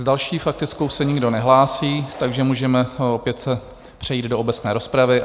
S další faktickou se nikdo nehlásí, takže můžeme opět přejít do obecné rozpravy.